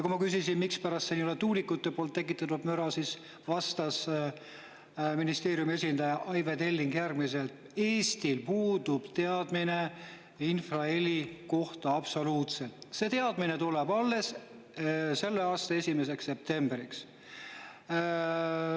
Kui ma küsisin, mispärast ei ole seal tuulikute tekitatavat müra, siis vastas ministeeriumi esindaja Aive Telling, et Eestil puudub teadmine infraheli kohta, see teadmine tuleb alles selle aasta 1. septembriks.